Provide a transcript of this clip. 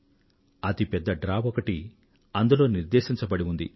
అతి పెద్ద డ్రా ఒకటి అందులో నిర్దేశించబడి ఉంది